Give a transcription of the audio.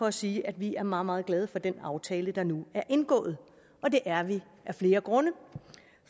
at sige at vi er meget meget glade for den aftale der nu er indgået og det er vi af flere grunde